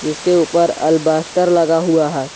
इसके ऊपर अल्बास्टर लगा हुआ है।